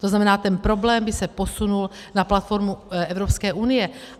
To znamená, ten problém by se posunul na platformu Evropské unie.